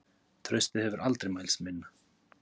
Traustið hefur aldrei mælst minna